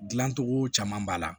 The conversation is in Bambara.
Dilancogo caman b'a la